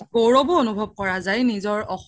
গৈৰবও অনোভাব কৰা যাই নিজৰ অসমীয়া